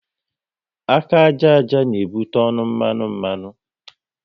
Aka àjà àjà n'ebute ọnụ mmanụ mmanụ